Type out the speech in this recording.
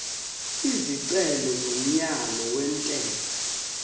isicelo somyalo wentela